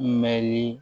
Mɛnli